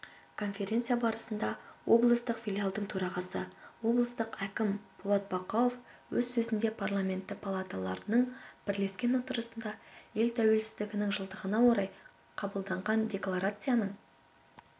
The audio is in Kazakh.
конференция барысында облыстық филиалдың төрағасы облыс әкімі болат бақауов өз сөзінде парламенті палаталарының бірлескен отырысында ел тәуелсіздігінің жылдығына орай қабылданған декларацияның